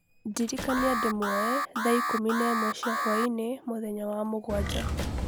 ndĩrikania ndĩmwoe Linda thaa ikũmi na ĩmwe cia hwaĩinĩ, mũthenya wa mũgwanja.